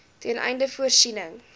ten einde voorsiening